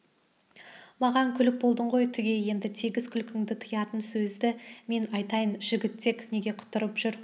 маған күліп болдың ғой түге енді тегіс күлкіңді тыятын сөзді мен айтайын жігітек неге құтырып жүр